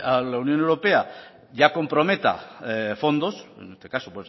que la unión europea ya comprometa fondos en este caso